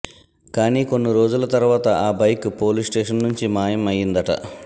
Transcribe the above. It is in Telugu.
కానీ కొన్ని రోజుల తర్వాత ఆ బైక్ పోలీస్ స్టేషన్ నుంచి మాయం అయిందట